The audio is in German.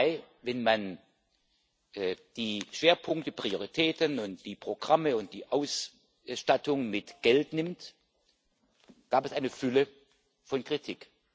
2. Mai wenn man die Schwerpunkte, Prioritäten, die Programme und die Ausstattung mit Geld nimmt gab es eine Fülle von Kritik.